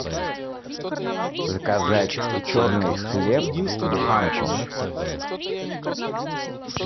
заказать черный хлеб буханку